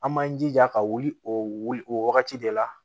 An b'an jija ka wuli o wuli o wagati de la